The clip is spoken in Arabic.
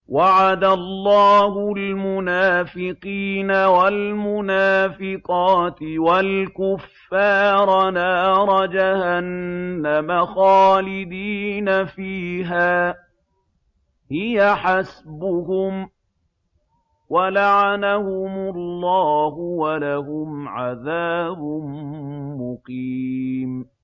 وَعَدَ اللَّهُ الْمُنَافِقِينَ وَالْمُنَافِقَاتِ وَالْكُفَّارَ نَارَ جَهَنَّمَ خَالِدِينَ فِيهَا ۚ هِيَ حَسْبُهُمْ ۚ وَلَعَنَهُمُ اللَّهُ ۖ وَلَهُمْ عَذَابٌ مُّقِيمٌ